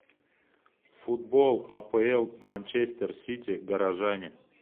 футбол апл манчестер сити горожане